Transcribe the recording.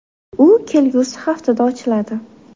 U kelgusi haftada ochiladi.